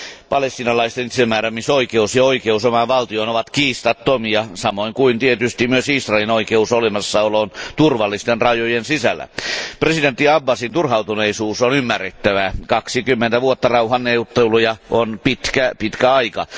Palestiinalaisten itsemääräämisoikeus ja oikeus omaan valtioon ovat kiistattomia, samoin kuin tietysti myös Israelin oikeus olemassaoloon turvallisten rajojen sisällä. Presidentti Abbasin turhautuneisuus on ymmärrettävää, 20 vuotta rauhanneuvotteluja on pitkä, pitkä aika.